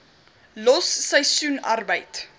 los seisoensarbeid